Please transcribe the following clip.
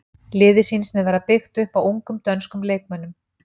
Liðið sýnist mér vera byggt upp á ungum dönskum leikmönnum.